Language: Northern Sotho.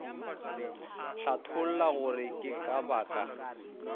hlatholla gore ke ka baka